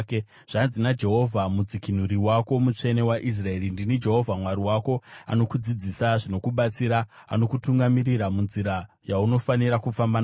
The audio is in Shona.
Zvanzi naJehovha Mudzikinuri wako, Mutsvene waIsraeri: “Ndini Jehovha Mwari wako, anokudzidzisa zvinokubatsira, anokutungamirira munzira yaunofanira kufamba nayo.